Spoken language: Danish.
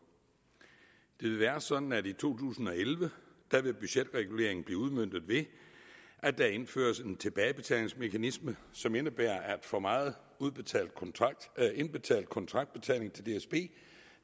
det vil være sådan at i to tusind og elleve vil budgetreguleringen blive udmøntet ved at der indføres en tilbagebetalingsmekanisme som indebærer at for meget indbetalt kontraktbetaling til dsb